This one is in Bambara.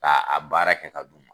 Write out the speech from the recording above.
Ka a baara kɛ ka d'u ma